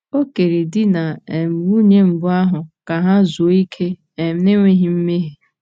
O kere di na um nwunye mbụ ahụ ka ha zuo okè, um n’enweghị mmehie.